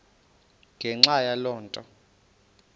ngenxa yaloo nto